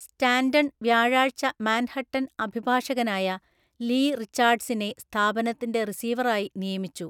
Stanton വ്യാഴാഴ്ച Manhattan അഭിഭാഷകനായ Lee റിച്ചാർഡ്സിനെ സ്ഥാപനത്തിന്റെ റിസീവറായി നിയമിച്ചു.